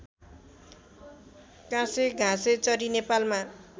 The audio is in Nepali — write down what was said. काँसे घाँसेचरी नेपालमा